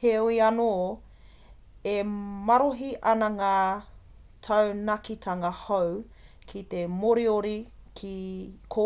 heoi anō e marohi ana ngā taunakitanga hou ko te moriori ko